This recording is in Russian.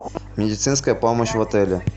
медицинская помощь в отеле